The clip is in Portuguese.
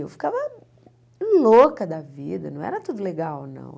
E eu ficava louca da vida, não era tudo legal, não.